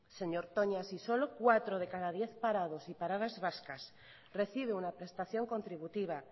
señor toña si solo cuatro de cada diez parados y paradas vascas recibe una prestación contributiva